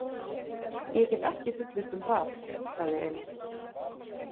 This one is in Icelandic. Ég get ekki fullyrt um það, sagði Elín.